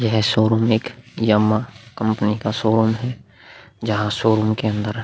यह शोरूम एक Yamaha company का शोरूम है जहां शोरूम के अंदर --